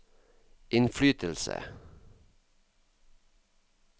innflytelse